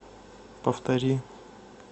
повтори